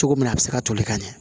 Cogo min na a bi se ka toli ka ɲɛ